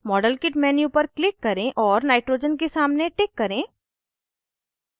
modelkit menu पर click करें और nitrogen के सामने टिक करें